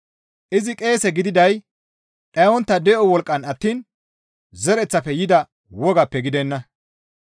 Izi qeese gididay dhayontta de7o wolqqan attiin zereththafe yida wogaappe gidenna.